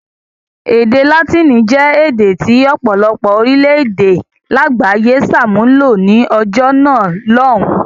Èdè Látíìnì jẹ́ èdè tí ọ̀pọ̀lọpọ̀ orílẹ̀-èdè lágbàáyé ṣàmúlò ní ọjọ́ náà lọ́hùn-ún.